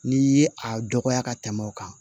N'i ye a dɔgɔya ka tɛmɛ o kan